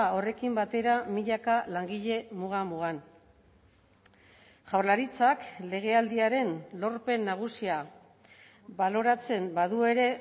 horrekin batera milaka langile muga mugan jaurlaritzak legealdiaren lorpen nagusia baloratzen badu ere